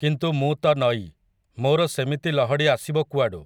କିନ୍ତୁ ମୁଁ ତ ନଈ, ମୋ'ର ସେମିତି ଲହଡ଼ି ଆସିବ କୁଆଡ଼ୁ ।